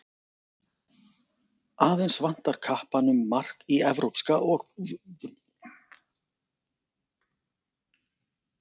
Aðeins vantar kappanum mark í evrópska ofurbikarnum.